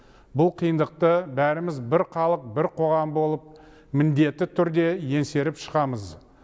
бұл қиындықты бәріміз бір халық бір қоғам болып міндетті түрде еңсеріп шығамыз